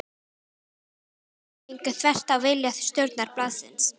Kröfur formannsins gengu þvert á vilja stjórnar blaðsins.